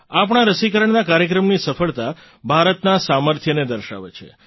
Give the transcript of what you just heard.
આપણા રસીકરણના કાર્યક્રમની સફળતા ભારતના સામર્થ્યને દર્શાવે છે